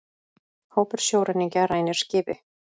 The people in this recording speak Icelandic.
Hópur sjóræningja rænir skipi